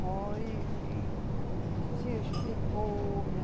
Foi, e se explicou, né